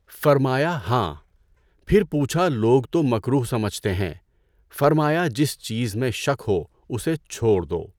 فرمایا ہاں، پھر پوچھا لوگ تو مکروہ سمجھتے ہیں، فرمایا جس چیز میں شک ہو اسے چھوڑ دو۔